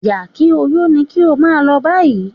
Yà-kí-ó-yó ni kí ó máa lọ báyìí